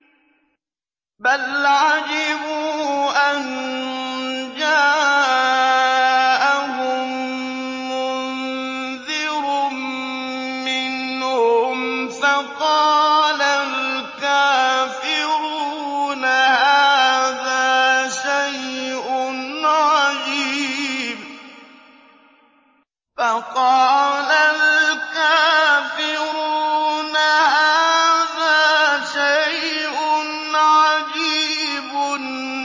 بَلْ عَجِبُوا أَن جَاءَهُم مُّنذِرٌ مِّنْهُمْ فَقَالَ الْكَافِرُونَ هَٰذَا شَيْءٌ عَجِيبٌ